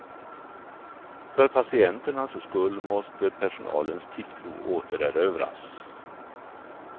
För patienternas skull måste personalens tilltro återerövras.